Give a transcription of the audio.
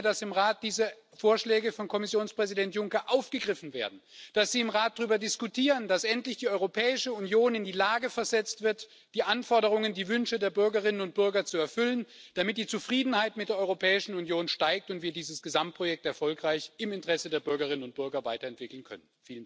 Ich wünsche mir, dass im Rat diese Vorschläge von Kommissionspräsident Juncker aufgegriffen werden, dass Sie im Rat darüber diskutieren, dass endlich die Europäische Union in die Lage versetzt wird, die Anforderungen und Wünsche der Bürgerinnen und Bürger zu erfüllen, damit die Zufriedenheit mit der Europäischen Union steigt und wir dieses Gesamtprojekt erfolgreich im Interesse der Bürgerinnen und Bürger weiter entwickeln können.